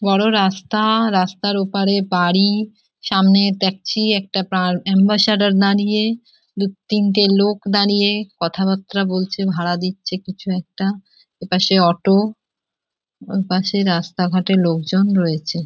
বড় রাস্তা আ রাস্তার ওপারে বাড়ি সামনে ট্যাকছি একটা প্রাণ অ্যাম্বাসেডার দাড়িয়ে দু তিনটে লোক দাঁড়িয়ে কথা বার্তা বলছে ভাড়া দিচ্ছে কিছু একটা এপাশে অটো ওপাশে রাস্তাঘাটে লোকজন রয়েছে।